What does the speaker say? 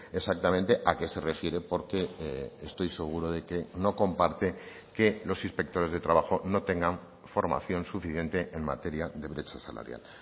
exactamente a qué se refiere porque estoy seguro de que no comparte que los inspectores de trabajo no tengan formación suficiente en materia de brecha salarial